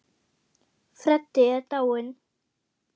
Freddi er dáinn.